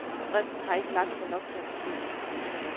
Stressen har ikke lagt sig nok til at forstå det.